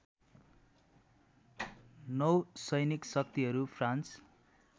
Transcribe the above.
नौसैनिक शक्तिहरू फ्रान्स